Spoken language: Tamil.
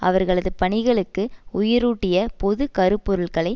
அவர்களது பணிகளுக்கு உயிரூட்டிய பொது கருப்பொருள்களை